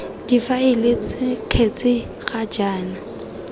difaele ts kgetse ga jaana